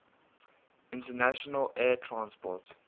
international air transport